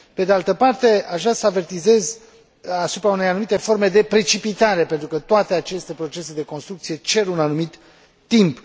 Pe de altă parte, aș vrea să avertizez asupra unei anumite forme de precipitare, pentru că toate aceste procese de construcție cer un anumit timp.